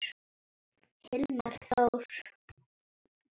Hilmar Þór.